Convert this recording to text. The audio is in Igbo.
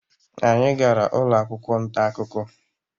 anyị gara ụlọ akwụkwọ nta akụkọ